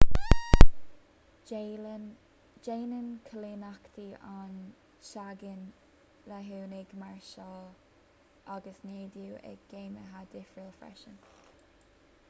déanann coilíneachtaí an tseangáin léigiúnaigh máirseáil agus neadú i gcéimeanna difriúla freisin